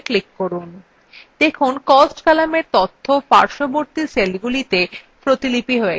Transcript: দেখুন cost কলামের তথ্য পার্শ্ববর্তী সেলগুলিতে copied হয়ে গেছে